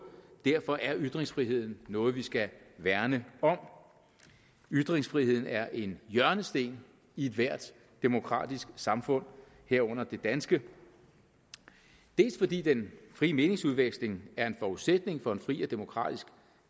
derfor er ytringsfriheden noget vi skal værne om ytringsfriheden er en hjørnesten i ethvert demokratisk samfund herunder det danske dels fordi den frie meningsudveksling er en forudsætning for en fri og demokratisk